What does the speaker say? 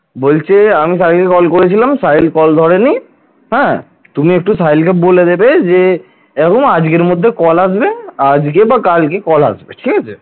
বলছে, আমি সাহিল কে call করেছিলাম সাহিল call ধরেনি, হ্যাঁ তুমি একটু সাহিল কে বলে দেবে বলেছে যে এরকম আজকের মধ্যে call আসবে আজকে বা কালকে call আসবে ঠিক আছে।